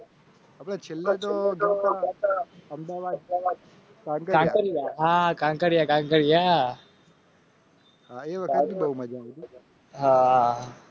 અમદાવાદકાંકરિયા હા